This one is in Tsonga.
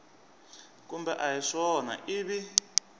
kumbe a hi swona ivi